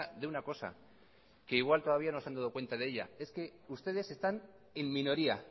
de una cosa que igual todavía no se han dado cuenta de ella es que ustedes están en minoría